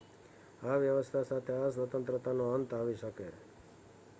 આ વ્યવસ્થા સાથે આ સ્વતંત્રતાનો અંત આવી શકે